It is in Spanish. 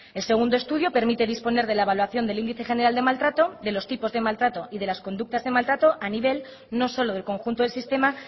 el segundo estudio permite disponer de la evaluación del índice general de maltrato de los tipos de maltrato y de las conductas de maltrato a nivel no solo del conjunto del sistema